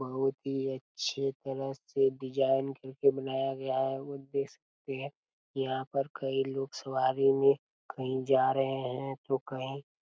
बहुत ही अच्छे तरह से डिज़ाइन करके बनाया गया है और देख सकते है यहाँ पर कई लोग सवारी हुए कही जा रहे है तो कहीं--